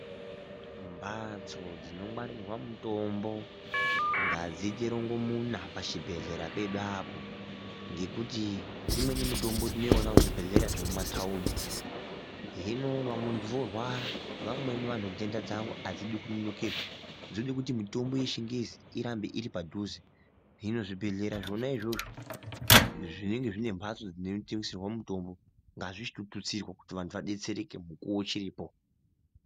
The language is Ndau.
Mhatso dzinongwarirwa mutombo ngadziite rongomuna pachibhendlera pedu apo, ngekuti imweni mitombo tinoona muzvibhendlera zvemutaundi. Hino muntu orwara, vamweni vantu nhenda dzavo adzidi kunonokerwa. Zvoda kuti mitombo yechingezi irambe iri padhuze. Hino zvibhendlera zvona izvozvo zvinenge zvine mhatso dzinotengeserwa mitombo ngadzitotutsirwa kuti vantu vabetsereke mukuwo uchiripo